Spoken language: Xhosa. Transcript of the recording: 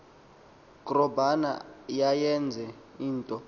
krobana yayenye into